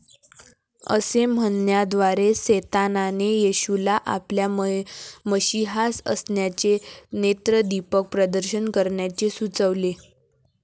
असे म्हणण्याद्वारे सैतानाने येशूला आपल्या मशीहा असण्याचे नेत्रदीपक प्रदर्शन करण्याचे सुचवले.